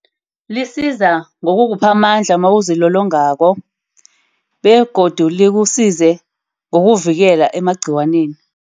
Lisiza ngokukuphamandla mawuzilolongako begodu likusize ngokuvikela emagciwaneni.